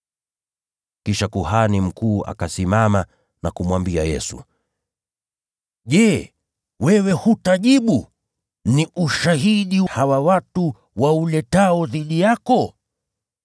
Kisha kuhani mkuu akasimama na kumwambia Yesu, “Je, wewe hutajibu? Ni ushahidi gani hawa watu wanauleta dhidi yako?”